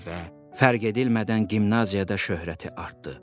və fərq edilmədən gimnaziyada şöhrəti artdı.